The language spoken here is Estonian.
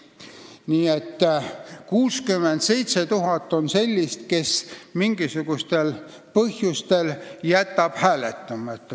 Nii et 67 000 inimest jätavad mingisugustel põhjustel hääletamata.